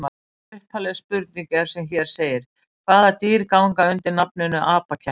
Upphafleg spurning er sem hér segir: Hvaða dýr ganga undir nafninu apakettir?